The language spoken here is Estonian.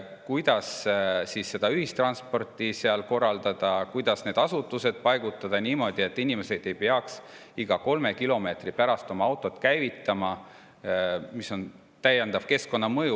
Kuidas ühistransporti korraldada, kuidas asutused paigutada niimoodi, et inimesed ei peaks iga päev 3 kilomeetri pärast oma autot käivitama, mis on täiendav keskkonnamõju.